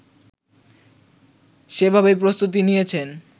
সেভাবেই প্রস্তুতি নিয়েছেন